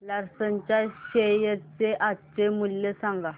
Larsen च्या share चे आजचे मूल्य सांगा